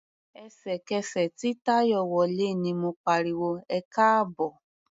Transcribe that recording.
Ẹ̀sẹ̀kẹsẹ̀ tí Táyọ̀ wọlé ni mo pariwo "ẹkáàbọ̀".